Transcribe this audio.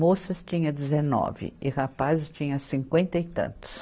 Moças tinha dezenove e rapazes tinha cinquenta e tantos.